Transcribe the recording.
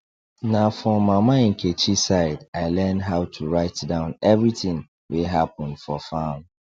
na for mama nkechi side i learn how to write down everything wey happen for farm